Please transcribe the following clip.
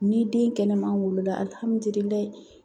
Ni den kɛnɛman wolola